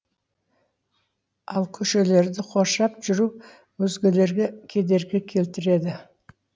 ал көшелерді қоршап жүру өзгелерге кедергі келтіреді